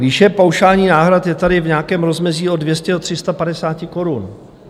Výše paušálních náhrad je tady v nějakém rozmezí od 200 do 350 korun.